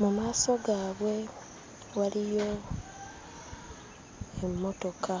Mu maaso gaabwe waliyo emmotoka.